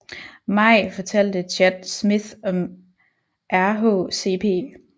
Maj fortalte Chad Smith om RHCP